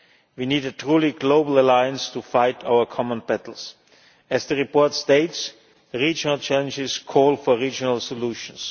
We need a truly global alliance to fight our common battles. As the report states, regional challenges call for regional solutions.